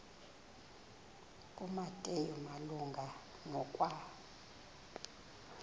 kumateyu malunga nokwa